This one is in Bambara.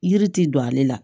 Yiri ti don ale la